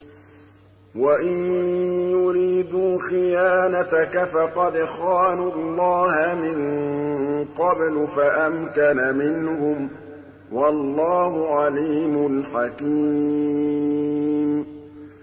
وَإِن يُرِيدُوا خِيَانَتَكَ فَقَدْ خَانُوا اللَّهَ مِن قَبْلُ فَأَمْكَنَ مِنْهُمْ ۗ وَاللَّهُ عَلِيمٌ حَكِيمٌ